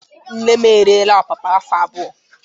Nne m ereela ọpapa afọ abụọ.